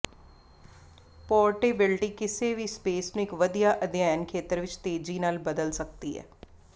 portability ਕਿਸੇ ਵੀ space ਨੂੰ ਇੱਕ ਵਧੀਆ ਅਧਿਐਨ ਖੇਤਰ ਵਿੱਚ ਤੇਜ਼ੀ ਨਾਲ ਬਦਲ ਸਕਦੀ ਹੈ